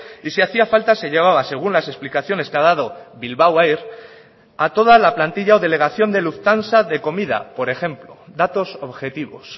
y si hacía falta se llevaba según las explicaciones que ha dado bilbao air a toda la plantilla o delegación de lufthansa de comida por ejemplo datos objetivos